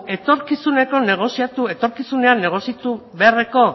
etorkizuneko negoziatu etorkizunean negoziatu beharreko